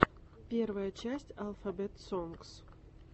первая часть алфабет сонгс